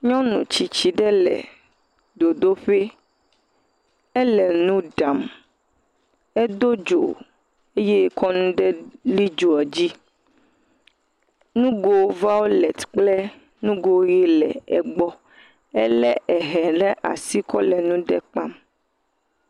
Nyɔnu tsitsi ɖe le dzodoƒui. Ele nu ɖam. Edo dzo eye woka nu ɖe li dzoa dzi. Nugo violet kple nugo ʋi le egbɔ. Ele hɛ ɖe asi kɔ le nu ɖe kpam.